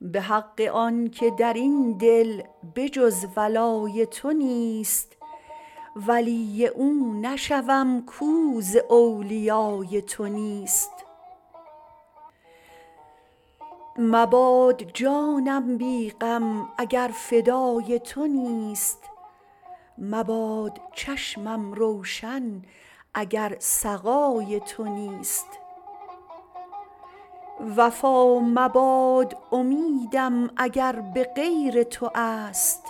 به حق آن که در این دل به جز ولای تو نیست ولی او نشوم کو ز اولیای تو نیست مباد جانم بی غم اگر فدای تو نیست مباد چشمم روشن اگر سقای تو نیست وفا مباد امیدم اگر به غیر تو است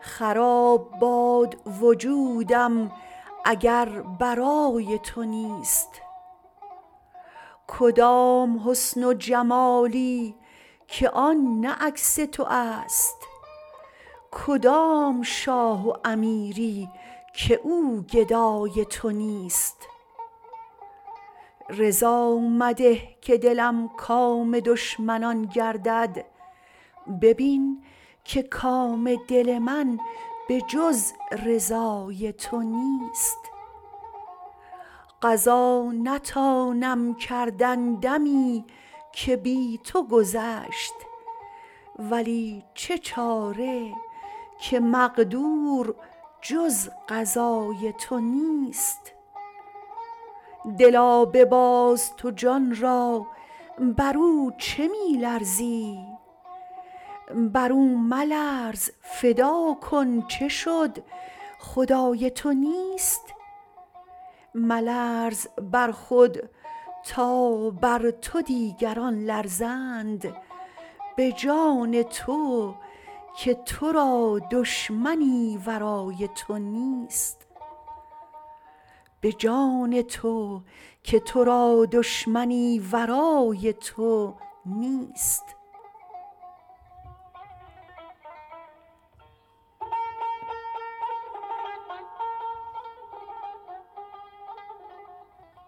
خراب باد وجودم اگر برای تو نیست کدام حسن و جمالی که آن نه عکس تو است کدام شاه و امیری که او گدای تو نیست رضا مده که دلم کام دشمنان گردد ببین که کام دل من به جز رضای تو نیست قضا نتانم کردن دمی که بی تو گذشت ولی چه چاره که مقدور جز قضای تو نیست دلا بباز تو جان را بر او چه می لرزی بر او ملرز فدا کن چه شد خدای تو نیست ملرز بر خود تا بر تو دیگران لرزند به جان تو که تو را دشمنی ورای تو نیست